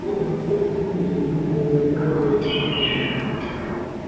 вот уже сколько дней я не видел ни одного заячьего следа